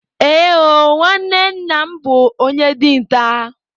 Ee o, nwanne nna m bụ onye dinta.